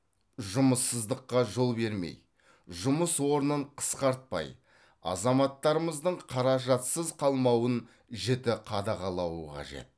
жұмыссыздыққа жол бермей жұмыс орнын қысқартпай азаматтарымыздың қаражатсыз қалмауын жіті қадағалауы қажет